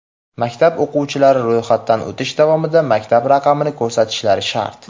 Maktab o‘quvchilari ro‘yxatdan o‘tish davomida maktab raqamini ko‘rsatishlari shart.